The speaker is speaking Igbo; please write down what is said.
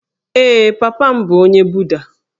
Ee, papa m bụ onye Buda